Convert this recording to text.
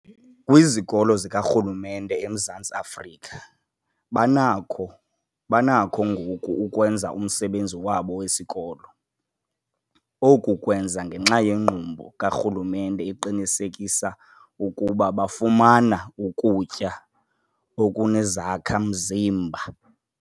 Kwizikolo zikarhulumente eMzantsi Afrika banako banakho ngoku ukwenza umsebenzi wabo wesikolo. Oku kwenzeka ngenxa yenkqubo karhulumente eqinisekisa ukuba bafumana ukutya okunezakha-mzimba.